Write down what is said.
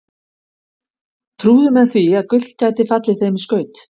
Trúðu menn því að gull gæti fallið þeim í skaut?